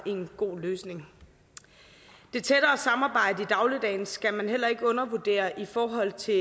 en god løsning det tættere samarbejde i dagligdagen skal man heller ikke undervurdere i forhold til